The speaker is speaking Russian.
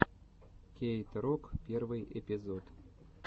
кейт рок первый эпизод